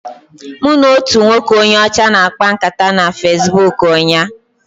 Mụ na otu nwoke onye ọcha na-akpa nkata na Fesbuk ụnyaahụ.